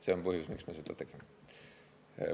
See on põhjus, miks me seda tegime.